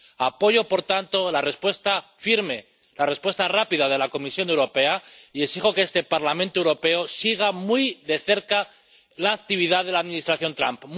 Apoyo, por tanto, la respuesta firme, la respuesta rápida de la Comisión Europea y exijo que este Parlamento Europeo siga muy de cerca la actividad de la Administración Trump.